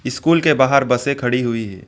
School के बाहर बसें खड़ी हुई हैं।